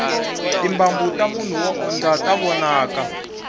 timbambu tamunhu wo o dya ta vonaka